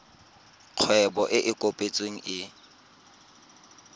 kgwebo e e kopetsweng e